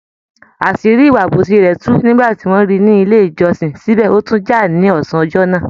Àṣírí ìwà àbòsí rẹ̀ tú nígbà ti wọ́n ríi ní ilé ìjọsìn, síbẹ̀ ó tún jà ní ọsán ọjọ́ náà.